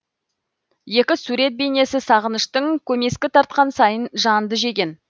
екі сурет бейнесі сағыныштың көмескі тартқан сайын жанды жеген